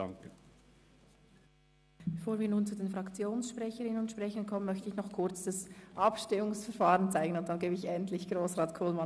Bevor ich den Fraktionssprecherinnen und sprechern das Wort gebe, möchte ich das Abstimmungsprocedere erläutern.